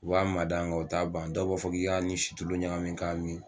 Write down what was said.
O b'a mada nga o t'a ban dɔw b'a fɔ k'i k'a ni situlu ɲagamin ka mi